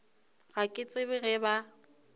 ga ke tsebe ge ba